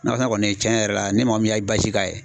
Nakɔ sɛnɛ kɔni tiɲɛ yɛrɛ la ni mɔgɔ min y'a i k'a ye